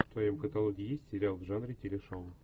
в твоем каталоге есть сериал в жанре телешоу